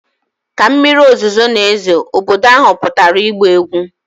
Ka mmiri ozuzo na-ezo, obodo ahụ pụtara ịgba egwu.